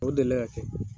O delila ka kɛ